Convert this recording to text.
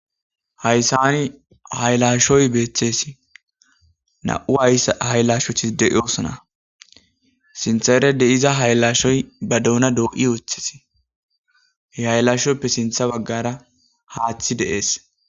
hayssani haylashoy beeththes na7u hayssa hayllashothi deiosona sinthaere de iza haylashoy ba doona doo7i ooththesi he hayllashopppe sintha baggara haaththi de7ees